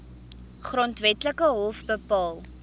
grondwetlike hof bepaal